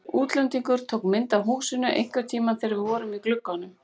Útlendingur tók mynd af húsinu einhvern tímann þegar við vorum í glugganum.